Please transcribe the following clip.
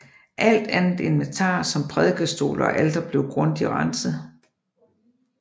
Alt andet inventar som prædikestol og alter blev grundigt renset